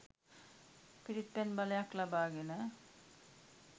පිරිත්පැන් බලයක් ලබාගෙන